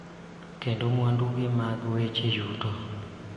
Kendo mwandugi mag weche yuto.